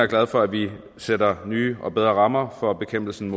glad for at vi sætter nye og bedre rammer for bekæmpelsen